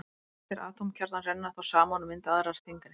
Léttir atómkjarnar renna þá saman og mynda aðra þyngri.